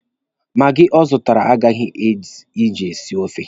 Maagi ọ zụtara agaghị ezu iji sie ofe.